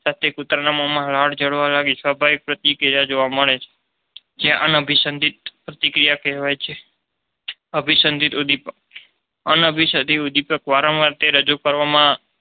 સાથે કૂતરાના મામા લાળ ઝરવાની સ્વાભાવિક પ્રતિક્રિયા જોવા મળે છે જે અભિપિન પ્રતિક્રિયા કહેવાય છે. અભિસંધિત ઉદીપક અનભિસંપિત દર્દીપક સાથે વારવાર જેને રજૂ કરવા માં